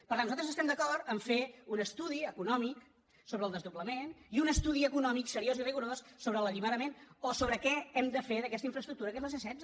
per tant nosaltres estem d’acord a fer un estudi econò·mic sobre el desdoblament i un estudi econòmic seriós i rigorós sobre l’alliberament o sobre què hem de fer d’aquesta infraestructura que és la c·setze